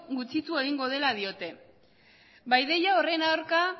gutxitu egingo dela diote ba ideia horren aurka